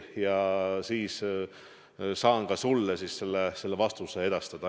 Ja siis saan sulle selle vastuse edastada.